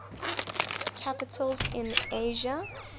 capitals in asia